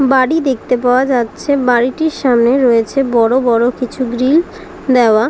বাড়ি দেখতে পাওয়া যাচ্ছে বাড়িটির সামনে রয়েছে বড় বড় কিছু গ্রিল দেওয়া--